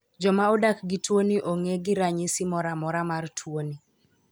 Joma odak gi tuo ni ong'e gi ranyisi moro maora mar tuoni.